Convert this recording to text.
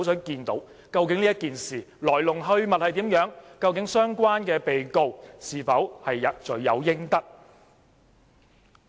究竟這件事的來龍去脈如何？相關被告是否罪有應得？